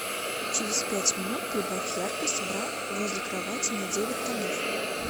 через пять минут прибавь яркость бра возле кровати на девять тонов